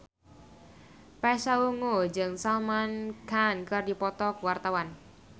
Pasha Ungu jeung Salman Khan keur dipoto ku wartawan